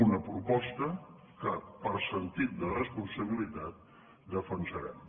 una proposta que per sentit de responsabilitat defensarem